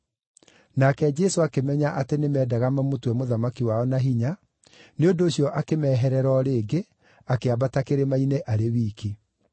Nake Jesũ akĩmenya atĩ nĩmendaga mamũtue mũthamaki wao na hinya, nĩ ũndũ ũcio akĩmeherera o rĩngĩ, akĩambata kĩrĩma-inĩ arĩ wiki.